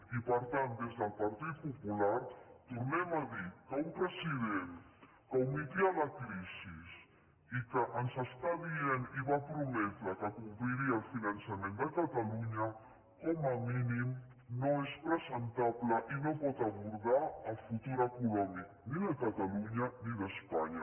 i per tant des del partit popular tornem a dir que un president que ometia la crisi i que ens està dient i va prometre que compliria el finançament de catalunya com a mínim no és presentable i no pot abordar el futur econòmic ni de catalunya ni d’espanya